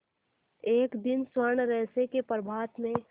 एक दिन स्वर्णरहस्य के प्रभात में